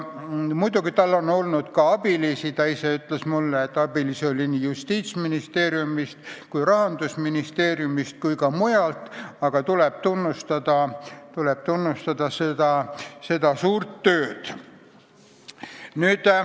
Muidugi tal on olnud ka abilisi – ta ise ütles mulle, et abilisi oli nii Justiitsministeeriumist kui Rahandusministeeriumist kui ka mujalt –, aga tuleb tunnustada tema suurt tööd.